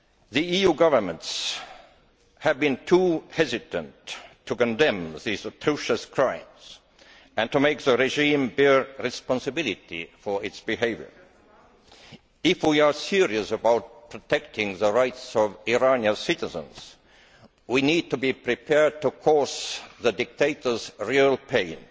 The EU governments have been too hesitant in condemning these atrocious crimes and to make the regime bear responsibility for its behaviour. If we are serious about protecting the rights of Iranian citizens, we need to be prepared to cause the dictators real pain.